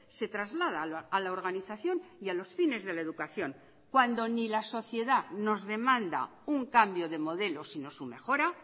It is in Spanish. se traslada a la organización y a los fines de la educación cuando ni la sociedad nos demanda un cambio de modelo sino su mejora